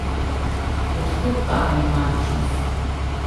Od kod ta enigmatičnost?